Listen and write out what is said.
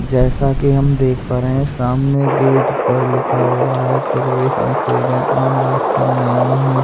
जैसा कि हम देख पा रहे हैं सामने गेट पर लिखा हुआ है प्रवेश निषेध है आम रास्ता नहीं है।